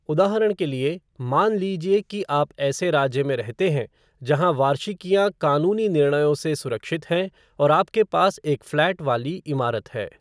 उदाहरण के लिए, मान लीजिए कि आप ऐसे राज्य में रहते हैं जहां वार्षिकियाँ कानूनी निर्णयों से सुरक्षित हैं और आपके पास एक फ़्लैट वाली इमारत है।